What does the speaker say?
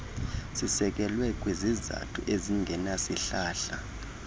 sisekelwe kwizizathu ezingenasihlahla